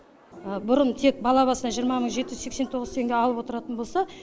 бұрын тек бала басына жиырма мың жеті жүз сексен тоғыз теңге алып отыратын болса